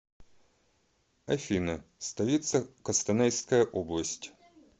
афина столица костанайская область